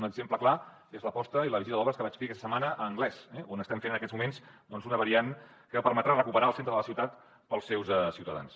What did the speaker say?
un exemple clar és l’aposta i la visita d’obres que vaig fer aquesta setmana a anglès on estem fent en aquests moments una variant que permetrà recuperar el centre de la ciutat per als seus ciutadans